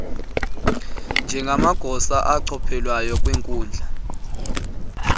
njengamagosa achophelayo kwiinkundla